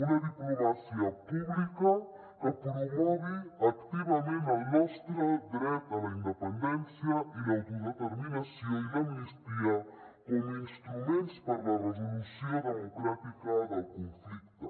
una diplomàcia pública que promogui activament el nostre dret a la independència i l’autodeterminació i l’amnistia com a instruments per a la resolució democràtica del conflicte